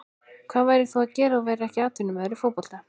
Hvað værir þú að gera ef þú værir ekki atvinnumaður í fótbolta?